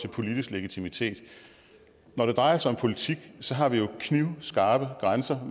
til politisk legitimitet når det drejer sig om politik har vi jo knivskarpe grænser